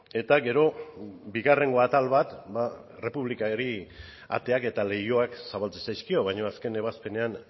eta gero bigarrengo atal bat ba errepublikari ateak eta leihoak zabaltzen zaizkio baino azken ebazpenean